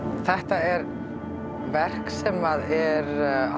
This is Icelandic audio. þetta er verk sem er